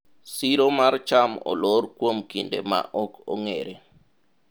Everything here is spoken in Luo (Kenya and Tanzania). siro mar cham olor kuom kinde ma ok ong'ere